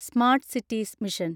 smart cities mission